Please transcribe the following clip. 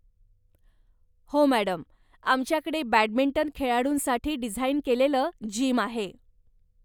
हो मॅडम, आमच्याकडे बॅडमिंटन खेळाडूंसाठी डिझाईन केलेलं जिम आहे.